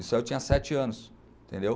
Isso aí eu tinha sete anos, entendeu?